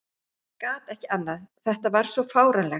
Gat ekki annað, þetta var svo fáránlegt.